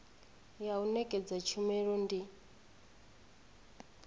ya u nekedza tshumelo ndi